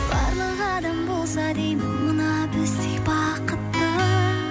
барлық адам болса деймін мына біздей бақытты